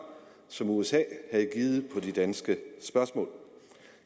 som usa havde givet på de danske spørgsmål